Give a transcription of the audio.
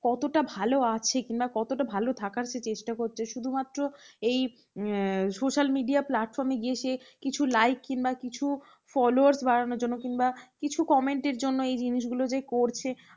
কতটা ভালো আছে কি না, কতটা ভাল থাকার সে চেষ্টা করছে। শুধুমাত্র এই social media platform গিয়ে সে কিছু like কিংবা কিছু followers বাড়ানোর জন্য কিংবা কিছু comments জন্য এই জিনিসগুলো যে করছে